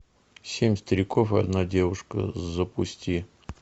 семь стариков и одна девушка запусти